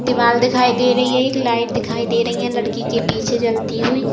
दीवाल दिखाई दे रही है एक। लाइट दिखाई दे रही है लड़की के पीछे जलती हुई।